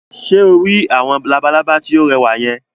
Ṣé o rí àwọn labalábá tí ó rẹwà yẹn?